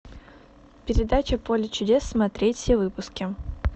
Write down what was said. передача поле чудес смотреть все выпуски